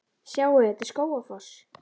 Sjáiði! Þetta er Skógafoss.